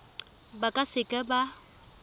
ba ka se ka ba